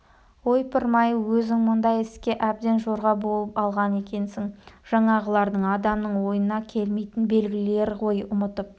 ойпырмай өзің мұндай іске әбден жорға болып алған екенсің жаңағыларың адамның ойына келмейтін белгілер ғой ұмытып